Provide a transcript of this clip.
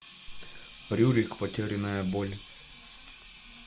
рюрик потерянная боль